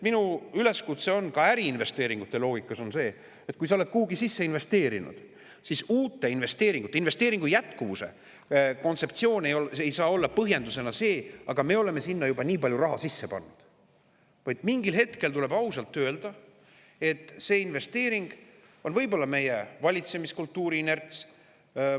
Minu üleskutse on ka äriinvesteeringute loogikas see, et kui sa oled kuhugi sisse investeerinud, siis uute investeeringute ja investeeringu jätkuvuse kontseptsioonis ei saa põhjendus olla selline, et aga me oleme sinna juba nii palju raha sisse pannud, vaid mingil hetkel tuleb ausalt öelda, et see investeering on võib-olla meie valitsemiskultuuri inerts.